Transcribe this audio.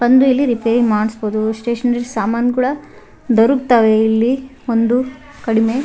ಬಂದು ಇಲ್ಲಿ ರಿಪೇರಿ ಮಾಡ್ಸಬೋದು ಸ್ಟೇಷನರಿ ಸಾಮಾನ್ ಕೂಡ ದೊರುಕ್ತಾವೇ ಇಲ್ಲಿ ಒಂದು ಕಡಿಮೆ --